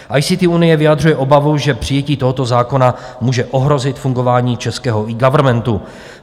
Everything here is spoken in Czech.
ICT unie vyjadřuje obavu, že přijetí tohoto zákona může ohrozit fungování českého eGovernmentu.